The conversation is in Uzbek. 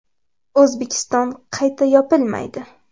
O‘zbekiston qayta yopilmaydi.